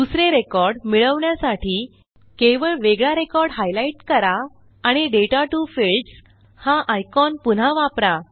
दुसरे रेकॉर्ड मिळवण्यासाठी केवळ वेगळा रेकॉर्ड हायलाईट करा आणि दाता टीओ फील्ड्स हा आयकॉन पुन्हा वापरा